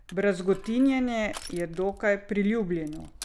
Brazgotinjenje je dokaj priljubljeno.